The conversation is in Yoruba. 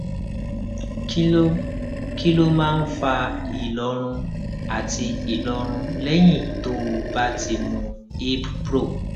kí ló kí ló máa ń fa ìlọrun àti ìlọrun lẹyìn tó o bá ti mu ibpro